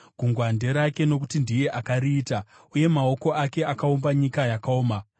Gungwa nderake, nokuti ndiye akariita, uye maoko ake akaumba nyika yakaoma.